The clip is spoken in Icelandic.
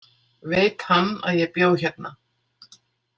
Veit hann að ég bjó hérna?